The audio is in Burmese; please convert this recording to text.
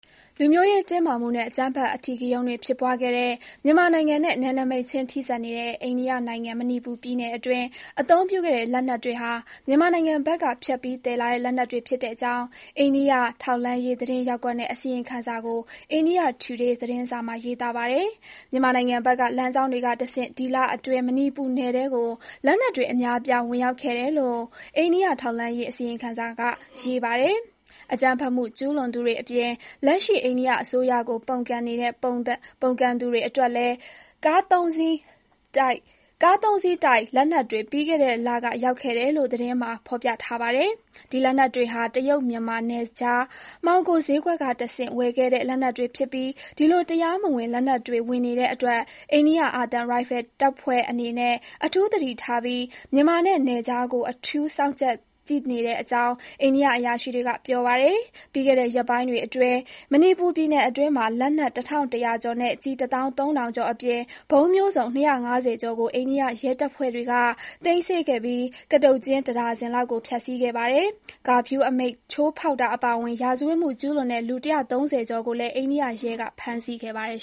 လူမျိုးရေး တင်းမာမှုနဲ့ အကြမ်းဖက်အဓိကရုဏ်းတွေ ဖြစ်ပွားခဲ့တဲ့ မြန်မာနိုင်ငံနဲ့နယ်နမိတ်ချင်းထိစပ်နေတဲ့ အိန္ဒိယနိုင်ငံ မဏိပူပြည်နယ်အတွင်း အသုံးပြုခဲ့တဲ့ လက်နက်တွေဟာမြန်မာနိုင်ငံဘက်က ဖြတ်ပြီး သယ်လာတဲ့ လက်နက်တွေ ဖြစ်တဲ့အကြောင်း အိန္ဒိယ ထောက်လှမ်းရေး သတင်းရပ်ကွက်ရဲ့ အစီရင်ခံစာကို India Today သတင်းစာမှာ ရေးသားပါတယ်။ မြန်မာနိုင်ငံဘက်က လမ်းကြောင်းတွေကတဆင့် ဒီလအတွင်း မဏိပူနယ်ထဲကို လက်နက်တွေ အများအပြား ဝင်ရောက်ခဲ့တယ်လို့ အိန္ဒိယ ထောက်လှမ်းရေး အစီရင်ခံစာက ရေးပါတယ်။ အကြမ်းဖက်မှု ကျုးလွန်သူတွေအပြင် လက်ရှိ အိန္ဒိယအစိုးရကို ပုန်ကန်နေတဲ့ သူပုန်တွေအတွက်လည်း ကားသုံးစီးတိုက် လက်နက်တွေ ပြီးခဲ့တဲ့လက ရောက်ခဲ့တယ်လို့ သတင်းမှာ ဖေါ်ပြပါတယ်။ ဒီလက်နက်တွေဟာ တရုတ်မြန်မာ နယ်ခြား မှောင်ခိုဈေးကွက်ကတဆင့် ဝယ်ခဲ့တဲ့ လက်နက်တွေ ဖြစ်ပြီး ဒီလို တရားမဝင် လက်နက်တွေ ဝင်နေတဲ့အတွက် အိန္ဒိယ အာသံ ရိုင်ဖယ်တပ်ဖွဲ့အနေနဲ့ အထူးသတိထားပြီး မြန်မာနဲ့ နယ်ခြားကို အထူး စောင့်ကြပ်ကြည့်နေတဲ့အကြောင်း အန္ဒိယ အရာရှိတွေက ပြောပါတယ်။ ပြီးခဲ့တဲ့ ရက်ပိုင်းအတွင်း မဏိပူပြည်နယ်အတွင်းမှာ လက်နက် တထောင့်တရာကျော်နဲ့ ကျည်တသောင်းသုံးထောင်ကျော်အပြင် ဗုံးမျိုးစုံ ၂၅၀ ကျော်ကို အိန္ဒိယရဲတပ်ဖွဲ့က သိမ်းဆည်းခဲ့ပြီး ကတုတ်ကျင်း တဒါဇင်လောက်ကိုလည်း ဖျက်ဆီးခဲ့ပါတယ်။ ကာဖျုးအမိန့်ချိုးဖေါက်တာအပါအဝင်၊ ရာဇဝတ်မှု ကျုးလွန်တဲ့ လူ ၁၃၀ ကျော်ကိုလည်း အိန္ဒိယရဲက ဖမ်းဆီးခဲ့ပါတယ်